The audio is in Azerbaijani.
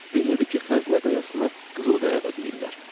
Bilirdi ki, Xəzinə Qayasına qızıl qaya da deyirlər.